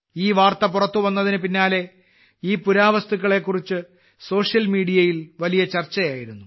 ഈ വാർത്ത പുറത്ത് വന്നതിന് പിന്നാലെ ഈ പുരാവസ്തുക്കളെ കുറിച്ച് സോഷ്യൽ മീഡിയയിൽ വലിയ ചർച്ചയായിരുന്നു